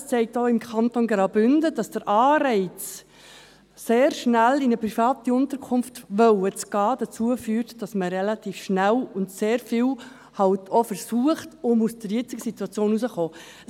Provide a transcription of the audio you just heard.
Es zeigt auch im Kanton Graubünden, dass der Anreiz, sehr schnell in eine private Unterkunft gehen zu wollen, dazu führt, dass man relativ schnell sehr vieles versucht, um aus der aktuellen Situation herauszukommen.